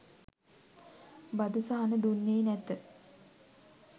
බදු සහන දුන්නේ නැත.